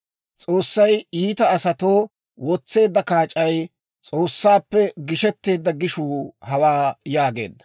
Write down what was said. S'oossay iita asatoo wotseedda kaac'ay; S'oossaappe gisheteedda gishuu hawaa» yaageedda.